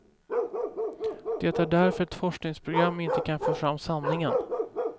Det är därför ett forskningsprogram inte kan få fram sanningen.